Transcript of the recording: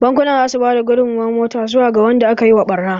Bankunan za su ba da gudunmawar mota. zuwa ga wanda aka yi wa ɓarna.